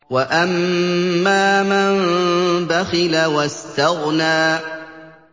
وَأَمَّا مَن بَخِلَ وَاسْتَغْنَىٰ